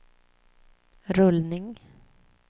rullning